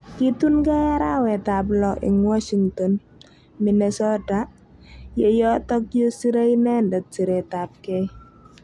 Kitunkei arawet ap lo ing Washington, Minnesota ye yotok ye sire inendet siret ap kei.